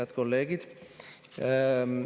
Head kolleegid!